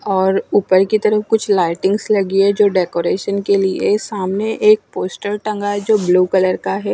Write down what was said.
और ऊपर की तरफ कुछ लाइटिंग्स लगी है जो डेकरैशन के लिए सामने एक पोस्टर टांगा है जो ब्लू कलर है।